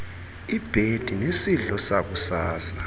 ibhedi nesidlo sakusasa